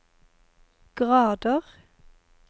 grader